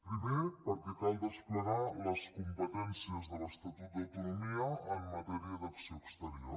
primer perquè cal desplegar les competències de l’estatut d’autonomia en matèria d’acció exterior